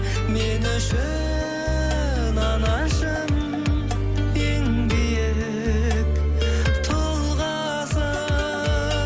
мен үшін анашым ең биік тұлғасың